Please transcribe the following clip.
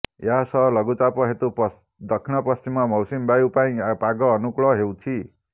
ଏହାସହ ଲଘୁଚାପ ହେତୁ ଦକ୍ଷିଣ ପଶ୍ଚିମ ମୌସୁମୀ ବାୟୁ ପାଇଁ ପାଗ ଅନୁକୂଳ ହେଉଛି